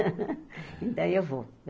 Então, eu vou.